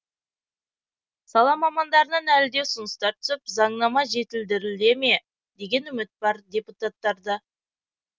сала мамандарынан әлі де ұсыныстар түсіп заңнама жетілдіріле ме деген үміт бар депутаттарда